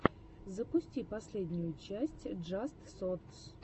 запусти последнюю часть джаст сотс